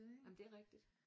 Jamen det er rigtigt